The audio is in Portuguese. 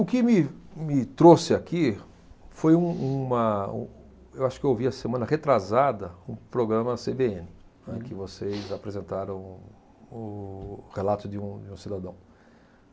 O que me, me trouxe aqui foi um, uma, um... Eu acho que eu ouvi a semana retrasada um programa Cêbêene, né que vocês apresentaram um, o relato de um cidadão.